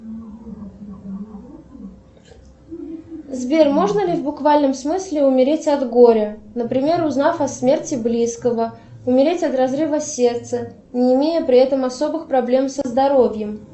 сбер можно ли в буквальном смысле умереть от горя например узнав о смерти близкого умереть от разрыва сердца не имея при этом особых проблем со здоровьем